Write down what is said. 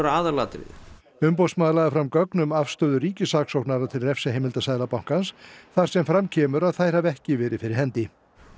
aðalatriðið umboðsmaður lagði fram gögn um afstöðu ríkissaksóknara til refsiheimilda Seðlabankans þar sem fram kemur að þær hafi ekki verið fyrir hendi